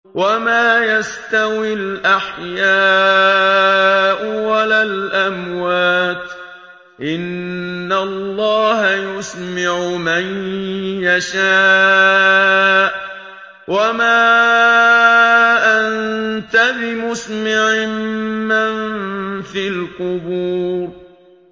وَمَا يَسْتَوِي الْأَحْيَاءُ وَلَا الْأَمْوَاتُ ۚ إِنَّ اللَّهَ يُسْمِعُ مَن يَشَاءُ ۖ وَمَا أَنتَ بِمُسْمِعٍ مَّن فِي الْقُبُورِ